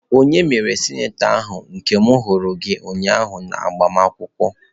Onye mere sịnator ahu ka m huru gi ụnyaahụ n'agbamakwụkwọ?